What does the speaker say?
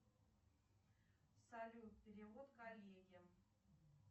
салют перевод коллеге